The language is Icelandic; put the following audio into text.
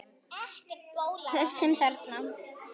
Þessum þarna!